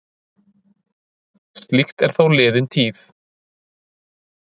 Slíkt er þó liðin tíð.